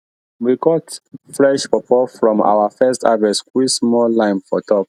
we cut fresh pawpaw from our first harvest squeeze small lime for top